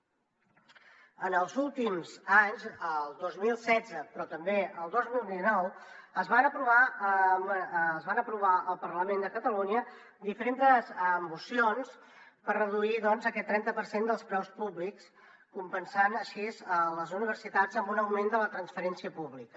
en els últims anys el dos mil setze però també el dos mil dinou es van aprovar al parlament de catalunya diferentes mocions per reduir aquest trenta per cent dels preus públics compensant així les universitats amb un augment de la transferència pública